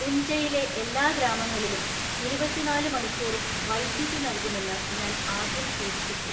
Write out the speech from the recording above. ഉഞ്ജയിലെ എല്ലാ ഗ്രാമങ്ങളിലും ഇരുപത്തിനാല് മണിക്കൂറും വൈദ്യുതി നല്കുമെന്ന് ഞാന്‍ ആദ്യം സൂചിപ്പിച്ചു.